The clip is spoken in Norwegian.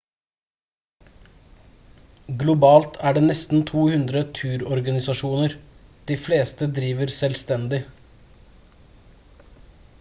globalt er det nesten 200 turorganisasjoner de fleste driver selvstendig